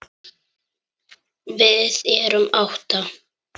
Við erum átta.